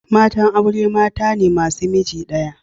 Matan aure mata ne masu miji daya.